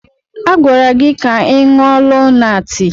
A gwara gị ka ị ṅụọ Lonaatị!